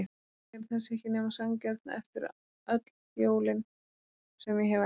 Hún segir að það sé ekki nema sanngjarnt eftir öll jólin sem ég hef eldað.